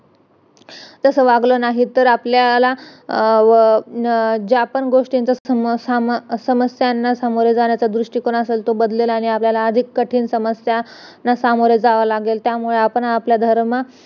तस वागलं नाही तर आपल्याला ज्या पण गोष्ठीच्या समस्यांना सामोरे जाण्याचा दृष्टीकोन असेल तो बदलेल आणि आपल्यला अधिक कठीण समस्यांना सामोरे जावं लागेल त्यामुळे आपण आपला धर्म